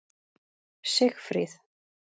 Sigfríð